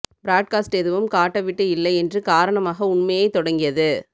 broadcast எதுவும் காட்ட விட்டு இல்லை என்று காரணமாக உண்மையை தொடங்கியது